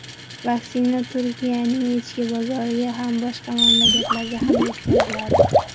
Vaksina Turkiyaning ichki bozoriga ham, boshqa mamlakatlarga ham yetkaziladi.